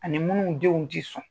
Ani minnu denw ti son